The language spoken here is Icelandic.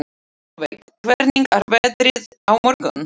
Solveig, hvernig er veðrið á morgun?